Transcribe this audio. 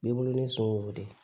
B'i bolonɔ ni sowo de